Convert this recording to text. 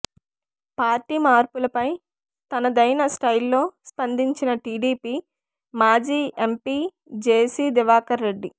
party మార్పుపై తనదైన స్టైల్లో స్పందించిన టీడీపీ మాజీ ఎంపీ జేసి దివాకర్ రెడ్డి